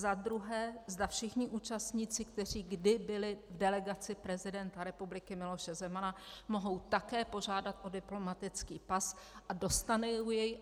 Za druhé, zda všichni účastníci, kteří kdy byli v delegaci prezidenta republiky Miloše Zemana, mohou také požádat o diplomatický pas a dostanou jej.